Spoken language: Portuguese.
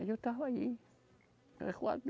Aí eu estava aí.